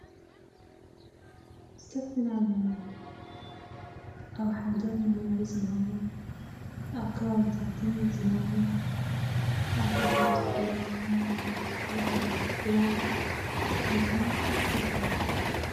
ዝተፈላለየ ኣብ ሓደ መንበሪ ዝነብሩ ኣብ ከባቢታትን ዝነብሩ ኣዴታት; ቆልዑ; ኣወደት; ኣጓላት ዝነብሩ እንታይ ይብሃሉ?